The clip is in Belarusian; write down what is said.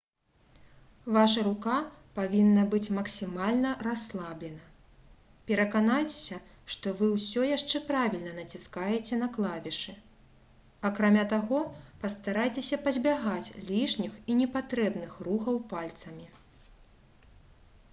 ваша рука павінна быць максімальна расслаблена пераканайцеся што вы ўсё яшчэ правільна націскаеце на клавішы акрамя таго пастарайцеся пазбягаць лішніх і непатрэбных рухаў пальцамі